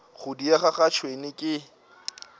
go diega ga tšhwene ke